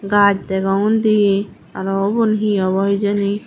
gaaj degong undi araw ubon hi abaw hijeni.